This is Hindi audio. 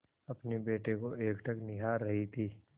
अपने बेटे को एकटक निहार रही थी